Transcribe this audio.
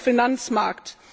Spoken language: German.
auch im Finanzmarkt.